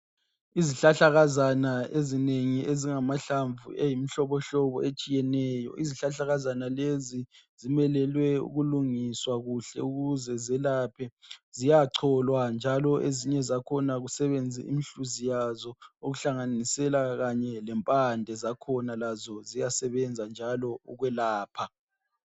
Izihlahlakazana ezinengi ezingamahlamvu eyimihlobohlobo etshiyeneyo izihlahlakazana lezi zimelelwe ukulungiswa kuhle ukuze zelaphe. Ziyachola njalo ezinye zakhona kusebenze umhluzi wazo okuhlanganisela kanye lempande zakhona lazo ziyasebenza njalo ukwelapha.